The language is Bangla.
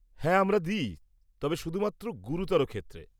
-হ্যাঁ আমরা দিই, তবে শুধুমাত্র গুরুতর ক্ষেত্রে।